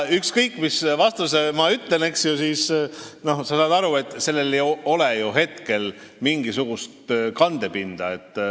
Ükskõik, mis ma ütlen, sa saad aru, et sellel ei ole ju hetkel mingisugust kandepinda.